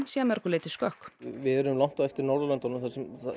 sé að mörgu leyti skökk við erum langt á eftir Norðurlöndunum þar